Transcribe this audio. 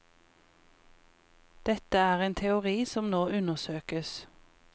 Dette er en teori som nå undersøkes.